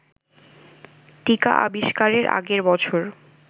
টীকা আবিস্কারের আগের বছর